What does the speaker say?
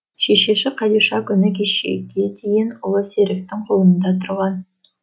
шешесі қадиша күні кешеге дейін ұлы серіктің қолында тұрған